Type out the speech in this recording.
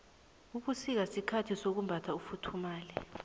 ubusika sikhathi sokumbatha ufuthumale